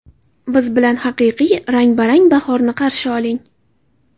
Biz bilan haqiqiy, rang-barang bahorni qarshi oling.